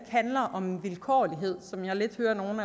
handler om vilkårlighed som jeg lidt hører nogle